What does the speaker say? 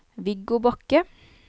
Viggo Bakke